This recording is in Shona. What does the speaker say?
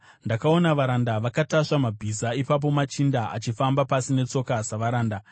Ndakaona varanda vakatasva mabhiza, ipapo machinda achifamba pasi netsoka savaranda.